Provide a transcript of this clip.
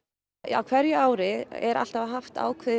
á hverju ári er alltaf haft